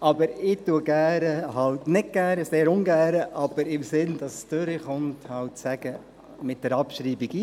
Ich bin mit der Abschreibung – ich muss zwar sagen, sehr ungern – einverstanden, aber im Sinne, dass die Motion angenommen wird.